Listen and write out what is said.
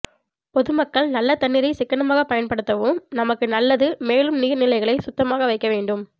பொது மக்கள் நல்ல தண்ணீரை சிக்கனமாக பயன் படுத்தவும் நமக்கு நல்லது மேலும் நீர் நிலைகளை சுத்தமாக வைக்க வேண்டும்